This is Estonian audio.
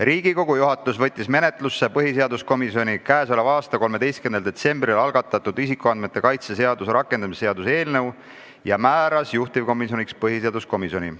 Riigikogu juhatus võttis menetlusse põhiseaduskomisjoni 13. detsembril algatatud isikuandmete kaitse seaduse rakendamise seaduse eelnõu ja määras juhtivkomisjoniks põhiseaduskomisjoni.